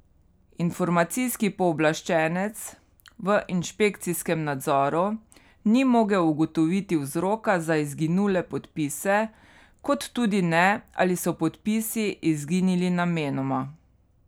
Informacijski pooblaščenec v inšpekcijskem nadzoru ni mogel ugotoviti vzroka za izginule podpise kot tudi ne, ali so podpisi izginili namenoma.